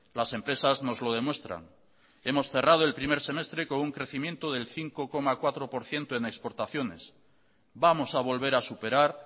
las empresas nos lo demuestran hemos cerrado el primer semestre con un crecimiento del cinco coma cuatro por ciento en exportaciones vamos a volver a superar